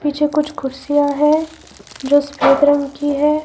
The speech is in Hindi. पीछे कुछ कुर्सियां है जो सफेद रंग की है।